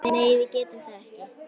Nei, við getum það ekki.